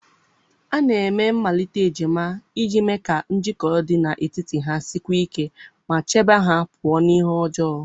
A na-eme mmalite ejima iji mee ka njikọ dị n'etiti ha sikwuo ike ma chebe ha pụọ na ihe ọjọọ